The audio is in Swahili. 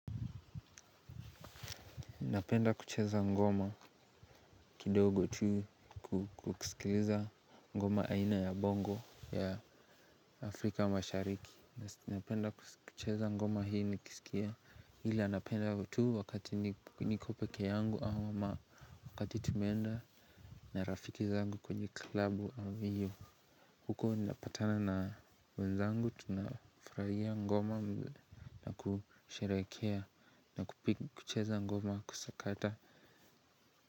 Napenda kucheza ngoma kidogo tu kukisikiliza ngoma aina ya bongo ya afrika mashariki. Napenda kucheza ngoma hii nikisikia ila anapenda tu wakati niko peke yangu au ma wakati tumeenda na rafiki zangu kwenye klabu ambayo huko napatana na wenzangu tunafurahia ngoma na kusherehekea na kucheza ngoma kusakata.